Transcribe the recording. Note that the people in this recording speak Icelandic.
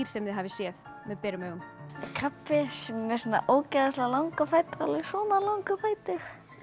sem þið hafið séð með berum augum krabbi sem er með ógeðslega langa fætur alveg svona langa fætur